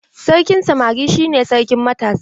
Sarkin samari shi ne sarkin matasa.